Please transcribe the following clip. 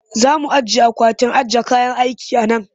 Za mu ajiye akwatin ajiye kayan aiki a nan